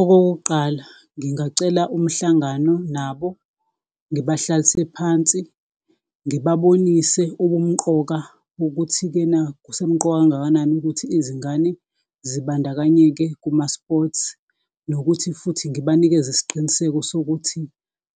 Okokuqala ngingacela umhlangano nabo, ngibahlalise phansi, ngibabonise ubumqoka bokuthi-ke na kusemqoka kangakanani ukuthi izingane zibandakanyeke kumasports, nokuthi futhi ngibanikeze isiqiniseko sokuthi